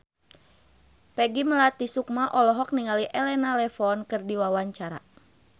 Peggy Melati Sukma olohok ningali Elena Levon keur diwawancara